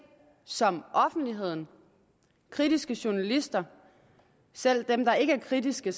som offentligheden kritiske journalister selv dem der ikke er kritiske